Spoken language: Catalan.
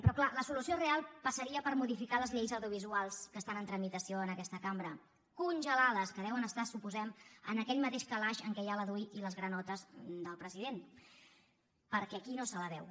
però clar la solució real passaria per modificar les lleis audiovisuals que estan en tramitació en aquesta cambra congelades que deuen estar suposem en aquell mateix calaix en què hi ha la dui i les granotes del president perquè aquí no se la veu